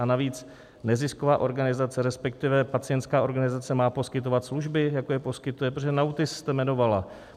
A navíc, nezisková organizace, respektive pacientská organizace, má poskytovat služby, jako je poskytuje, protože NAUTIS jste jmenovala.